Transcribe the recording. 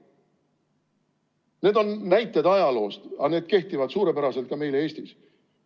Need on näited ajaloost, aga need kehtivad suurepäraselt ka meil Eestis.